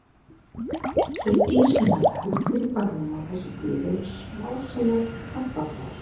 Þau dýr sem verða helst fyrir barðinu á þessu dýri eru smásæjar krabbaflær.